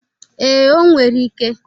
Ee, o nwere ike.